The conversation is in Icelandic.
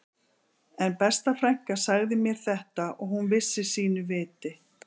En besta frænka sagði mér þetta og hún vissi sínu viti